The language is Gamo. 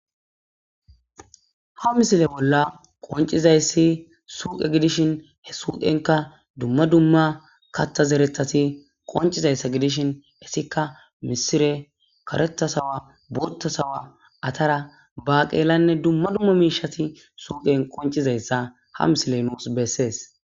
Haa missile bolla qonccizayiss suqe gishshin hee suqennkka dumma dumma kaththa zereththatti qonccizayissa gidishshin ettikka misire kareththa sawa boththa sawa atara baqelanne dumma dumma mishshata suqenni qonccizayissa haa misileyi nusi besees.